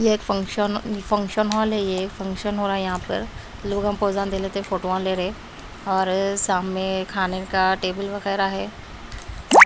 ये एक function function hall है ये फंक्शन हो रहा है यहां पर लोगोजन दे लेते हैं फोटो ले रहे और सामने खाने का टेबल वगैरह है।